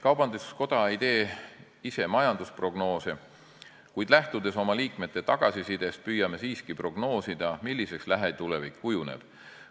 Kaubanduskoda ei tee ise majandusprognoose, kuid lähtudes oma liikmete tagasisidest, püüame siiski prognoosida, milliseks lähitulevik kujuneb.